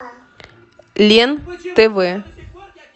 лен тв